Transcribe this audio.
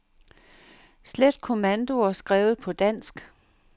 Slet kommandoer skrevet på dansk.